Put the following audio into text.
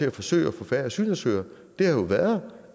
at forsøge at få færre asylansøgere har været